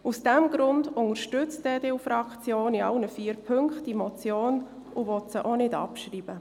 Aus diesem Grund unterstützt die EDU-Fraktion diese Motion in allen vier Punkten und will diese auch nicht abschreiben.